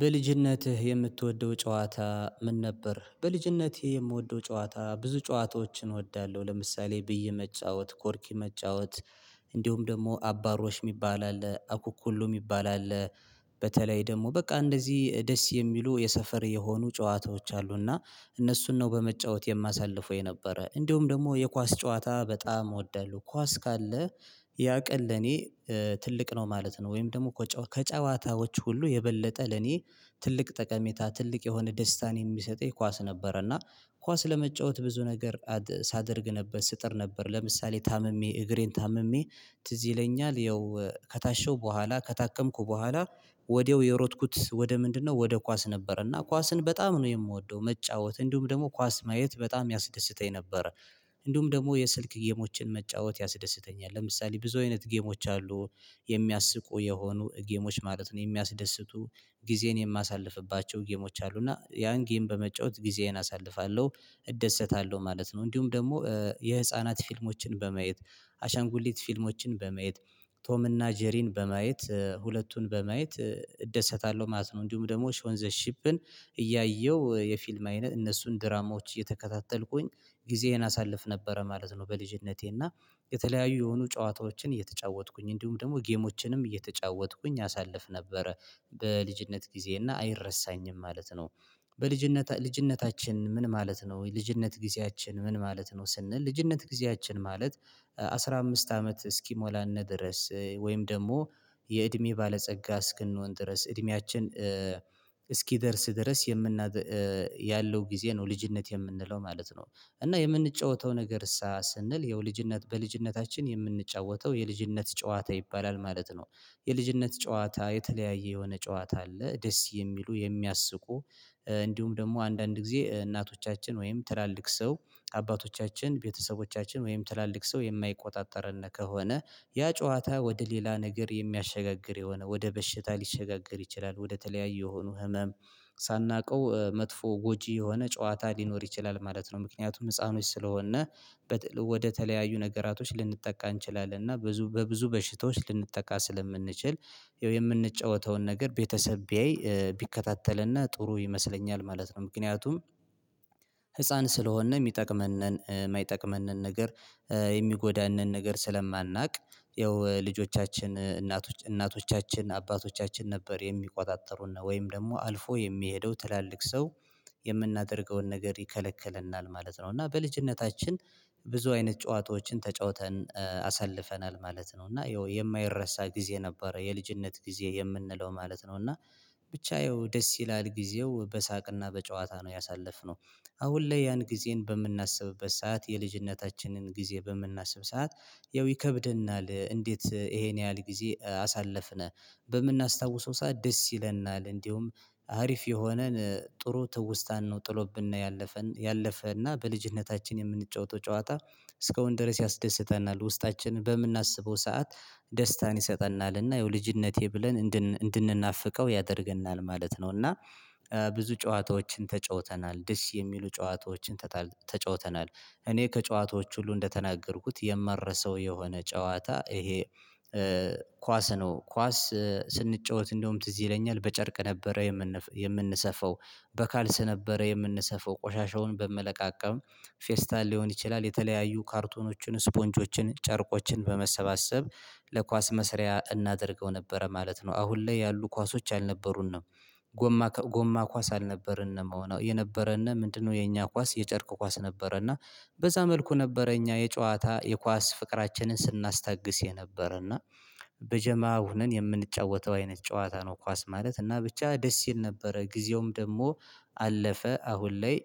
በልጅነትህ የምትወደው ጨዋታ ምን ነበር? በልጅነትቴ የምወደው ጨዋታ ብዙ ጨዋታዎችን እወዳለሁ ለምሳሌ ብይ መጫወት ኮርኪ መጫወት። እንዲሁም ደግሞ አባሮሽ የሚባል አለ አኩኩሉ የሚባል አለ። በተለይ ደግሞ በቃ እንደዚህ ደስ የሚሉ የሰፈር የሆኑ ጨዋታዎች አሉና እነሱን ነው በመጫወት የማሳልፈው የነበረ። እንደውም ደግሞ የኳስ ጨዋታ በጣም እወዳለሁ ኳስ ካለ ያቀን ለኔ ትልቅ ነው ማለት ነው። ወይም ደግሞ ፈ ከጨዋታዎች ሁሉ የበለጠ ለኔ ትልቅ ጠቀሜታ ትልቅ የሆነ ደስታን የሚሰጠኝ ኳስ ነበረ። እና ኳስ ለመጫወት ብዙ ነገር ሳደርግ ነበር ስጥር ነበር ለምሳሌ ታምሜ እግሬን ታምሜ ትዝ ይለኛል ያው ከታሸው በኋላ ከታከምኩ በኋላ። ወዲያው የሮጥኩት ወደ ምንድነው ወደ ኳስ ነበረና ኳስን በጣም ነው የምወደው። መጫወት እንዲሁም ደግሞ ኳስ ማየት በጣም ያስደስተኝ ነበረ። እንዲሁም ደግሞ የስልክ ጌሞችን መጫወት ያስደስተኛል ለምሳሌ ብዙ አይነት ጌሞች አሉ። የሚያስቁ የሆኑ ጌሞች ማለት ነው የሚያስደስቱ። ጊዜን የማሳልፍባቸው ጌሞች አሉ እና ያን ጌም በመጫወት ጊዜዬን አሳልፋለሁ። እደሰታለሁ ማለት ነው። እንዲሁም ደግሞ የህፃናት ፊልሞችን በማየት አሻንጉሊት ፊልሞችን በማየት ቶም እና ጄሪን በማየት ሁለቱን በማየት እደሰታለሁ ማለት ነው። እንዲሁም ደግሞ ሾንዘሺፕን እያየሁ የፊልም አይነት እነሱን ድራማዎች እየተከታተልኩኝ ጊዜዬን አሳልፍ ነበረ ማለት ነው። በልጅነቴና የተለያዩ የሆኑ ጨዋታዎችን እየተጫወትኩኝ እንዲሁም ደግሞ ጌሞችንም እየተጫወትኩኝ አሳልፍ ነበረ። በልጅነት ጊዜዬ እና አይረሳኝም ማለት ነው። በልጅነት ልጅነታችን ምን ማለት ነው ልጅነት ጊዜያችን ምን ማለት ነው። ስንል ልጅነት ጊዜያችን ማለት አስራ አምስት አመት እስኪሞላን ድረስ ወይም ደግሞ የእድሜ ባለጸጋ እስክንሆን ድረስ እድሜያችን እስኪደርስ ድረስ የምናደ ያለው ጊዜ ነው ልጅነት የምንለው ማለት ነው። እና የምንጫወተው ነገርሳ ስንል ይኸው ልጅነት በልጅነታችን የምንጫወተው የልጅነት ጨዋታ ይባላል ማለት ነው። የልጅነት ጨዋታ የተለያየ የሆነ ጨዋታ አለ። ደስ የሚሉ የሚያስቁ እንዲሁም ደግሞ አንዳንድ ጊዜ እናቶቻችን ወይም ትላልቅ ሰው አባቶቻችን ቤተሰቦቻችን ወይም ትላልቅ ሰው የማይቆጣጠረንነ ከሆነ። ያ ጨዋታ ወደ ሌላ ነገር የሚያሸጋግር የሆነ ወደ በሽታ ሊሸጋገር ይችላል ወደ ተለያዩ የሆኑ ህመም ሳናውቀው መጥፎ ጎጂ የሆነ ጨዋታ ሊኖር ይችላል ማለት ነው። ምክንያቱም ህፃኖች ስለሆን። ወደተለያዩ ነገራቶች ልንጠቃ እንችላለን እና ብዙ በብዙ በሽታዎች ልንጠቃ ስለምንችል። ያው የምንጫወተውን ነገር ቤተሰብ ቢያይ ቢከታተልን ጥሩ ይመስለኛል ማለት ነው። ምክንያቱም ህፃን ስለሆንን የሚጠቅመንን የማይጠቅመንን ነገር የሚጎዳንን ነገር ስለማናውቅ። ያው ልጆቻችን እናቶች እናቶቻችን አባቶቻችን ነበር የሚቆጣጠሩን ነው ወይም ደግሞ አልፎ የሚሄደው ትላልቅ ሰው። የምናደርገውን ነገር ይከለክለናል ማለት ነው እና በልጅነታችን ብዙ አይነት ጨዋታዎችን ተጫውተን አሳልፈናል ማለት ነው። እና ይኸው የማይረሳ ጊዜ ነበረ የልጅነት ጊዜ የምንለው ማለት ነው። እና ብቻ ይኸው ደስ ይላል ጊዜው በሳቅና በጨዋታ ነው ያሳለፍነው። አሁን ላይ ያን ጊዜን በምናስብበት ሰዓት የልጅነታችንን ጊዜ በምናስብ ሰዓት ያው ይከብደናል እንዴት ይሄን ያህል ጊዜ አሳለፍን? በምናስታውሰው ሰዓት ደስ ይለናል። እንደውም አሪፍ የሆነን ጥሩ ትውስታን ነው ጥሎብና ያለፈን ያለፈና በልጅነታችን የምንጫወተው ጨዋታ። እስካሁን ድረስ ያስደስታናል ውስጣችንን በምናስበው ሰዓት። ደስታን ይሰጠናልና ያው ልጅነቴ ብለን እንድንናፍቀው ያደርገናል ማለት ነው። እና ብዙ ጨዋታዎችን ተጫውተናል ድስ የሚሉ ጨዋታዎችን ተጫውተናል። እኔ ከጨዋታዎች ሁሉ እንደተናገርኩት የማረሰው የሆነ ጨዋታ ይሄ። ኳስ ነው ኳስ ስንጫወት እንደውም ትዝ ይለኛል በጨርቅ ነበረ። የምንሰፋው በካልሲ ነበረ የምንሰፋው ቆሻሻውን በመለቃቀም ፌስታል ሊሆን ይችላል። የተለያዩ ካርቶኖችን ስፖንጆችን ጨርቆችን በመሰባሰብ ለኳስ መስሪያ እናደርገው ነበረ ማለት ነው። አሁን ላይ ያሉ ኳሶች አልነበሩንም። ጎማ ኳስ አልነበረንም የሆነው የነበረና ምንድነው የኛ ኳስ የጨርቁ ኳስ ነበረና። በዛ መልኩ ነበረ እኛ የጨዋታ የኳስ ፍቅራችንን ስናስታግስ የነበረ እና። በጀማ ሆነን የምንጫወተው አይነት ጨዋታ ነው። ኳስ ማለት እና ብቻ ደስ ይል ነበረ። ጊዜውም ደግሞ አለፈ አሁን ላይ።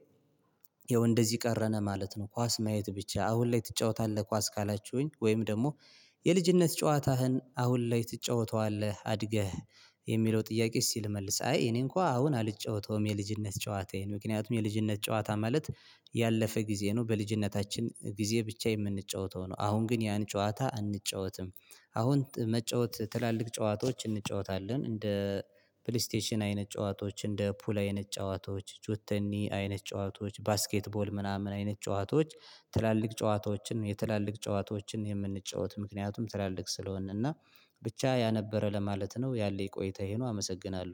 ይኸው እንደዚህ ቀረነ ማለት ነው። ኳስ ማየት ብቻ አሁን ላይ ትጫወታለህ ኳስ ካላችሁኝ ወይም ደግሞ የልጅነት ጨዋታህን አሁን ላይ ትጫወተዋለህ። አድገህ የሚለው ጥያቄ እስቲ ልመልስ አይ እኔ እንኳን አሁን አልጫወተውም። የልጅነት ጨዋታዬን ምክንያቱም የልጅነት ጨዋታ ማለት ያለፈ ጊዜ ነው። በልጅነታችን ጊዜ ብቻ የምንጫወተው ነው አሁን ግን ያን ጨዋታ አንጫወትም። አሁን መጫወት ትላልቅ ጨዋታዎች እንጫወታለን እንደ ፕሌስቴሽን አይነት ጨዋታዎች እንደ ፑል አይነት ጨዋታዎች ጆተኒ አይነት ጨዋታዎች ባስኬትቦል ምናምን አይነት ጨዋታዎች። ትላልቅ ጨዋታዎችን የትላልቅ ጨዋታዎችን የምንጫወት ምክንያቱም ትላልቅ ስለሆንን እና ብቻ ያነበረ ለማለት ነው። ያለኝ ቆይታ ይሄ ነው። አመሰግናለሁ